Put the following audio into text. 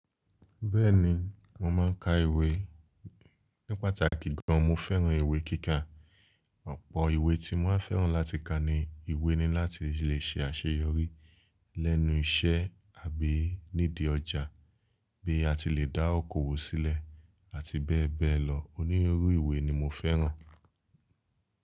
Bẹ́ẹ̀ni, mo máa ń ka ìwé ní pàtàkì gan. Mo fẹ́ràn ìwé kíkà. Ọ̀pọ̀ ìwé tí mo máa fẹ́ràn láti ka ni ìwé ní láti lè ṣe àṣeyọrí lẹ́nu iṣẹ́ àbí nídi ọjà, bí a ti lè dá oko wò sílẹ̀ àti bẹ́ẹ̀ bẹ́ẹ̀ lọ. Oní orú ìwé ni mo fẹ́ràn.